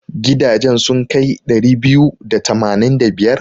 Gidajen sun kai ɗari biyu da tamanin da biyar?